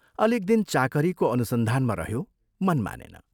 अलिक दिन चाकरीको अनुसन्धानमा रह्यो मन मानेन।